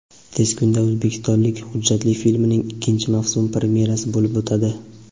Tez kunda "O‘zbekistonlik" hujjatli filmining ikkinchi mavsum premyerasi bo‘lib o‘tadi.